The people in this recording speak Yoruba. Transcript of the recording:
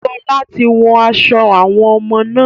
Sọlá tí wón aṣọ àwọn ọmọ náà.